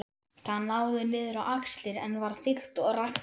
Það náði niður á axlir en var þykkt og ræktarlegt.